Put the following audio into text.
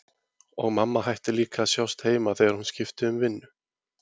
Og mamma hætti líka að sjást heima þegar hún skipti um vinnu.